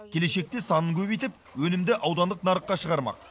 келешекте санын көбейтіп өнімді аудандық нарыққа шығармақ